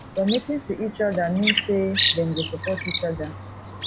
committing to each other mean say dem go support each other